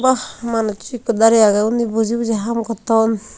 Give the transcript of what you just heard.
ba manus ekko dare age unni buji buji haam gotton.